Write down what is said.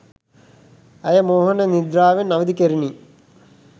ඇය මෝහන නිද්‍රාවෙන් අවදි කෙරිණි.